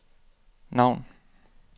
navn